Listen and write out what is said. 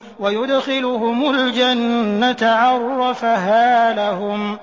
وَيُدْخِلُهُمُ الْجَنَّةَ عَرَّفَهَا لَهُمْ